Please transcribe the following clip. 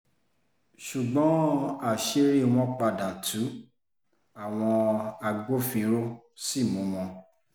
ṣùgbọ́n àṣírí wọn padà tu àwọn agbófinró sí mú wọn